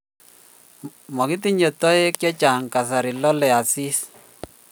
makitinye toek chechang eng kasari lolei asis